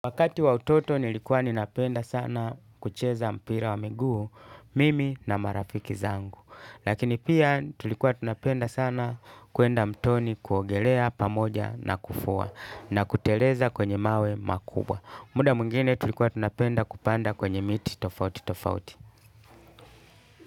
Wakati wa utoto nilikuwa ninapenda sana kucheza mpira wa miguu mimi na marafiki zangu. Lakini pia tulikuwa tunapenda sana kwenda mtoni kuogelea pamoja na kufua na kuteleza kwenye mawe makubwa. Muda mungine tulikuwa tunapenda kupanda kwenye miti tofauti tofauti.